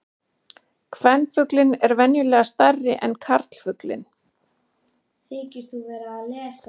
Kvenfuglinn er venjulega stærri en karlfuglinn.